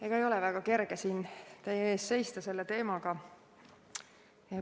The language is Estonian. Ega ei ole väga kerge selle teemaga siin teie ees seista.